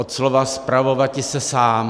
Od slova spravovati se sám.